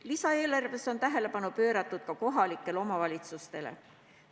Lisaeelarves on tähelepanu pööratud ka kohalikele omavalitsustele.